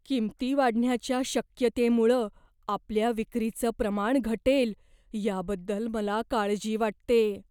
किंमती वाढण्याच्या शक्यतेमुळं आपल्या विक्रीचं प्रमाण घटेल याबद्दल मला काळजी वाटतेय.